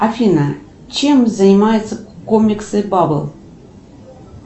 афина чем занимаются комиксы бабл